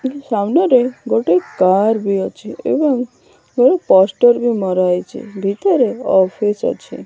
ସ୍ମାନାରେ ଗୋଟେ କାର ବି ଅଛି ଏବଂ ପୋଷ୍ଟ ର ବି ମରାହେଇଛି ଭିତରେ ଅଫିସ୍ ଵି ଅଛି।